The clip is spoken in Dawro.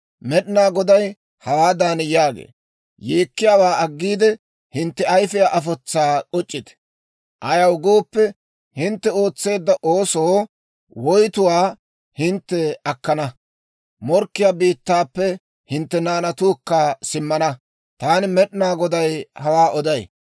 Med'inaa Goday hawaadan yaagee; «Yeekkiyaawaa aggiide, hintte ayifiyaa afotsaa k'uc'c'ite. Ayaw gooppe, hintte ootseedda oosoo woytuwaa hintte akkana; morkkiyaa biittaappe hintte naanatuukka simmana. Taani Med'inaa Goday hawaa oday.